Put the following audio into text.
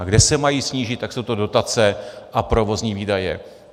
A kde se mají snížit, tak jsou to dotace a provozní výdaje.